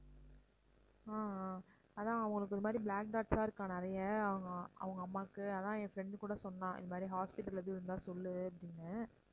ஆஹ் ஆஹ் அதான் அவங்களுக்கு இது மாதிரி black dots ஆ இருக்காம் நிறைய அவங்க அவங்க அம்மாவுக்கு அதான் என் friend கூட சொன்னா இது மாதிரி hospital எதுவும் இருந்தா சொல்லு அப்படின்னு